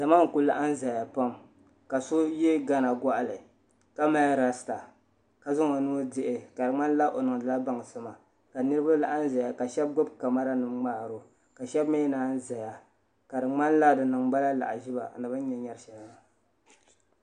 Zama n-kuli laɣim zaya pam ka so ye gana gɔɣili ka mali lasita ka zaŋ o nuu dihi ka di ŋmanila o niŋdila baŋsim ka niriba laɣim ʒeya ka shɛba gbubi kamaranima ŋmaari o ka shɛba mi naanyi zaya ka di ŋmanila di niŋ ba la lahiʒiba ni bɛ ni nya nyari shɛli maa